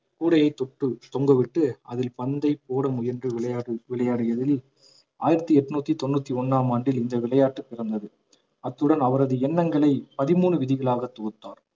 கூடையைத் தொட்டு தொங்கவிட்டு அதில் பந்தை போட முயன்று விளையாடி~ விளையாடியதில் ஆயிரத்தி எண்ணூத்தி தொண்ணூத்தி ஒண்ணாம் ஆண்டில் இந்த விளையாட்டு பிறந்தது அத்துடன் அவரது எண்ணங்களை பதிமூணு விதிகளாகத் தொகுத்தார்